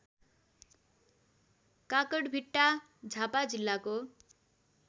काँकडभिट्टा झापा जिल्लाको